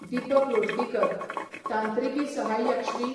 दिपक लोटलीकर, तांत्रिकी सहाय्यक श्री.